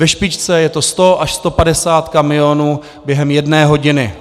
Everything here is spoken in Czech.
Ve špičce je to 100 až 150 kamionů během jedné hodiny.